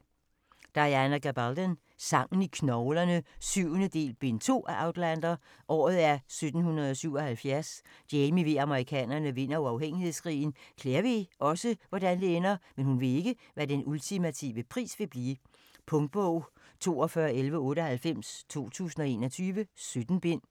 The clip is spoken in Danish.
Gabaldon, Diana: Sangen i knoglerne 7. del, bind 2 af Outlander. Året er 1777. Jamie ved at amerikanerne vinder uafhængighedskrigen. Claire ved også, hvordan det ender, men hun ved ikke hvad den ultimative pris vil blive. Punktbog 421198 2021. 17 bind.